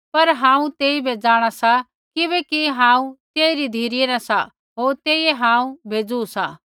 पर हांऊँ तेइबै जाँणा सा किबैकि हांऊँ तेइरी धिरै न सा होर तेइयै हांऊँ भेजु सा